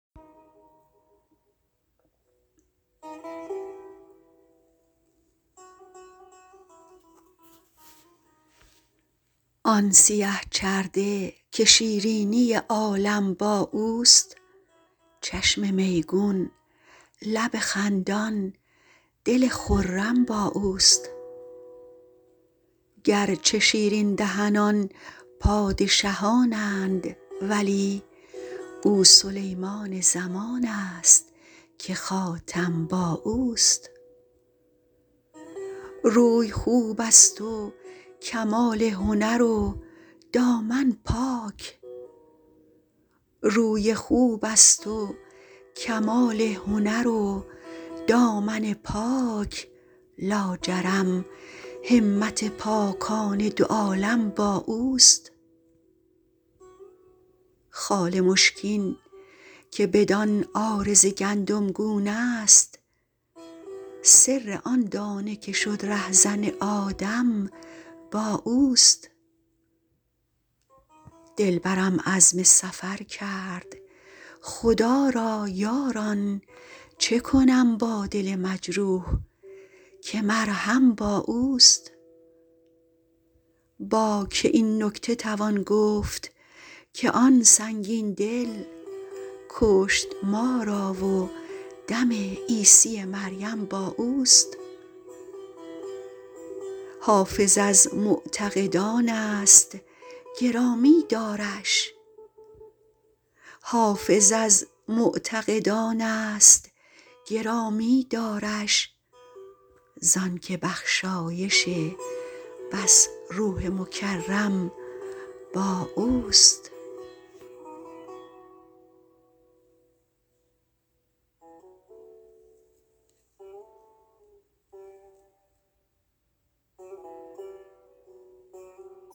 آن سیه چرده که شیرینی عالم با اوست چشم میگون لب خندان دل خرم با اوست گرچه شیرین دهنان پادشهان اند ولی او سلیمان زمان است که خاتم با اوست روی خوب است و کمال هنر و دامن پاک لاجرم همت پاکان دو عالم با اوست خال مشکین که بدان عارض گندمگون است سر آن دانه که شد رهزن آدم با اوست دلبرم عزم سفر کرد خدا را یاران چه کنم با دل مجروح که مرهم با اوست با که این نکته توان گفت که آن سنگین دل کشت ما را و دم عیسی مریم با اوست حافظ از معتقدان است گرامی دارش زان که بخشایش بس روح مکرم با اوست